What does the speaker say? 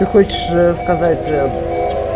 ты хочешь ээ сказать ээ